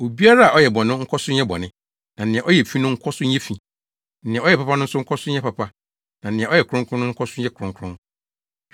Obiara a ɔyɛ bɔne no nkɔ so nyɛ bɔne, na nea ɔyɛ fi no nkɔ so nyɛ fi; nea ɔyɛ papa no nkɔ so nyɛ papa, na nea ɔyɛ kronkron no nkɔ so nyɛ kronkron.”